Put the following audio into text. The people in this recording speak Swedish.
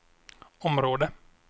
område